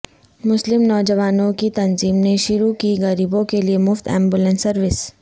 مسلم نوجوانوں کی تنظیم نے شروع کی غریبوں کیلئے مفت ایمبولینس سروس